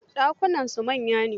Dakunan na su manya ne?